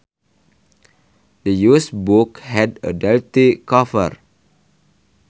The used book had a dirty cover